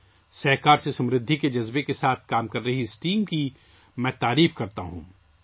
میں 'تعاون کے ذریعے خوشحالی' کے جذبے کے ساتھ کام کرنے والی اس ٹیم کی ستائش کرتا ہوں